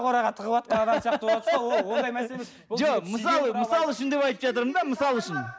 қораға тығыватқан адам сияқты болып отырсыз ғой жоқ мысалы мысал үшін деп айтып жатырмын да мысал үшін